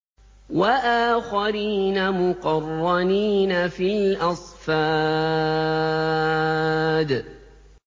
وَآخَرِينَ مُقَرَّنِينَ فِي الْأَصْفَادِ